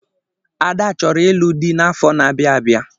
Ada chọrọ ịlụ di n’afọ na-abịa abịa